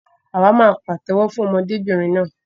Àwa máa pàtéwọ́ fún ọmọdébìnrin náà.